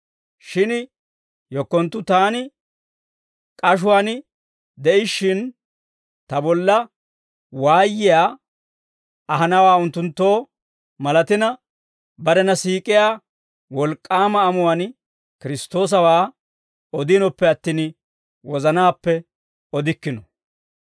Shin yekkonttu taani k'ashuwaan de'ishshin, ta bolla waayiyaa ahanawaa unttunttoo malatina, barena siik'iyaa wolk'k'aama amuwaan Kiristtoosawaa odinoppe attin, wozanaappe odikkino.